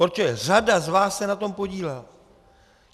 Protože řada z vás se na tom podílela.